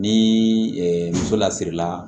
Ni muso lasirila